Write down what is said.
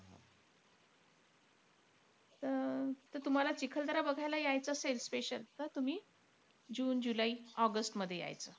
त अं त तुम्हाला चिखलदरा बघायला यायचं असेल special, त तुम्ही जुने जुलै ऑगस्टमध्ये यायचं.